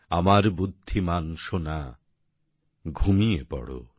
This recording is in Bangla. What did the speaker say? আমার বুদ্ধিমান সোনা ঘুমিয়ে পড়ো